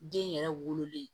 Den yɛrɛ wololen